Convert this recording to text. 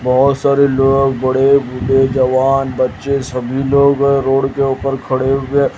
बहोत सारे लोग बड़े बूढ़े जवान बच्चे सभी लोग रोड के ऊपर खड़े हुए--